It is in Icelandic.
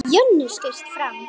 Jonni skaust fram.